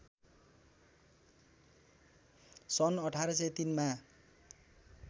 सन् १८०३ मा